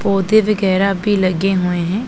पौधे वगैरा भी लगे हुए हैं।